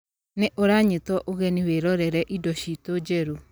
Nĩ ũranyitwo ũgeni wĩrorere indo ciitũ njerũ.